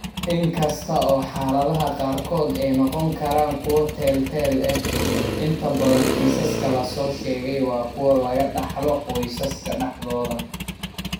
In kasta oo xaaladaha qaarkood ay noqon karaan kuwo teel-teel ah, inta badan kiisaska la soo sheegay waa kuwo laga dhaxlo qoysaska dhexdooda.